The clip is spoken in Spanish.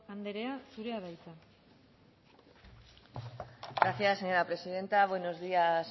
andrea zurea da hitza gracias señora presidenta buenos días